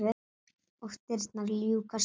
Og dyrnar ljúkast upp.